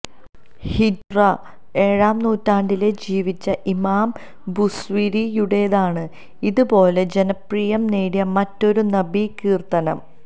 ഹിജ്റ ഏഴാം നൂറ്റാണ്ടില് ജീവിച്ച ഇമാം ബൂസ്വീരിയുടേതാണ് ഇത് പോലെ ജനപ്രിയം നേടിയ മറ്റൊരു നബി കീര്ത്തനം